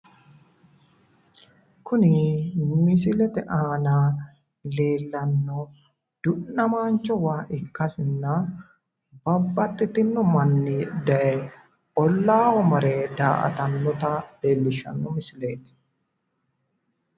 Kuni misilete aana leellanno du'namaancho waa ikkasinna babbaxxitinno manni daye ollaaho mare daa"atannota leellishshanno misileeti.